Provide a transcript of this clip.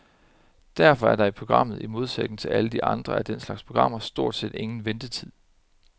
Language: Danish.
Derfor er der i programmet, i modsætning til alle de andre af den slags programmer, stort set ingen ventetid.